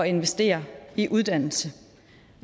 investere i uddannelse